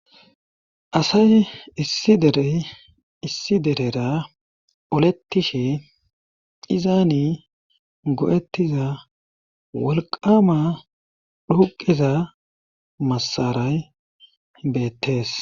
asay ideissi derera oletishe izaani go7ettiza wolqama dhuqiza massaray beettees